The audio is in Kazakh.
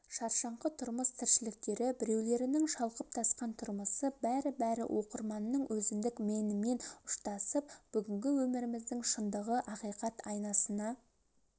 шаршаңқы тұрмыс тіршіліктері біреулерінің шалқып-тасқан тұрмысы бәрібәрі оқырманның өзіндік менімен ұшсатып бүгінгі өміріміздің шындығы ақиқат айнасына